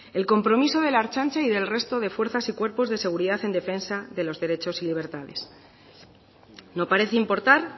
el compromiso de la ertzaintza y del resto de fuerzas y cuerpos de seguridad en defensa de los derechos y libertades no parece importar